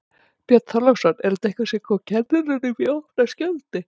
Björn Þorláksson: Er þetta eitthvað sem kom kennurum í opna skjöldu?